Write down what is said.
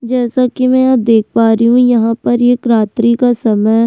जैसा की मै यहां पर देख पा रही हूँ यहां पर एक रात्रि का समय --